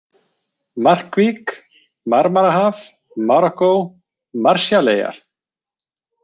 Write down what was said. Markvík, Marmarahaf, Marokkó, Marshalleyjar